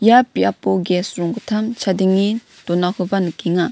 ia biapo ges ronggittam chadenge donakoba nikenga.